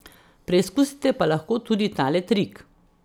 Preizkusite pa lahko tudi tale trik.